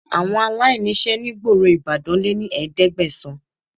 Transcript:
Àwọn aláìníṣẹ́ ní gboro Ìbàdàn lé ní ẹ̀ẹ́dẹ́gbẹ̀sán